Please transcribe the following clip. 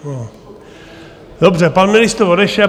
Dobře, pan ministr odešel.